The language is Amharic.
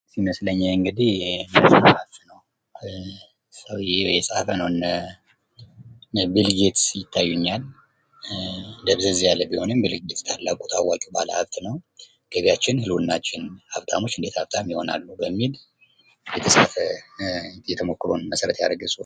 ይመስለኛል እንግዲህ የተጻፈ ነው እነ ቢልጌት ይታዩኛል። ደብዘዝ ያለ ቢሆንም ቢልጌት ታላቁ ባለሀብት ነው። ገቢያችን ህልውናችን ሀብታሞች እንዴት ሀብታም ይሆናሉ በሚል የተጻፈ ተሞክሮን መሠረት ያደረገ ጽሑፍ።